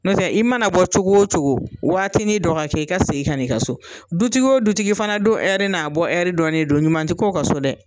Nɔtɛ i mana bɔ cogo o cogo waati ni dɔgɔ kɛ, i ka segin kan i ka so, du tigi o du tigi fana don hɛri n'a bɔ hɛri dɔnen don ɲuman tɛ kɛ o ka so dɛ.